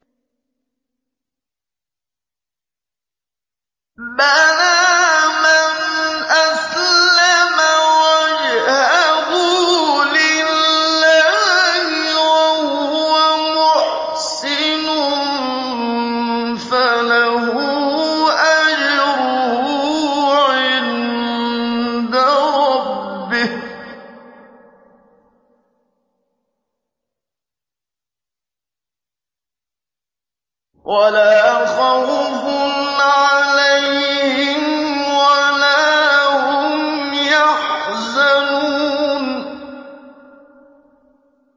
بَلَىٰ مَنْ أَسْلَمَ وَجْهَهُ لِلَّهِ وَهُوَ مُحْسِنٌ فَلَهُ أَجْرُهُ عِندَ رَبِّهِ وَلَا خَوْفٌ عَلَيْهِمْ وَلَا هُمْ يَحْزَنُونَ